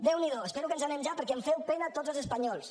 déu n’hi do espero que ens n’anem ja perquè em feu pena tots els espanyols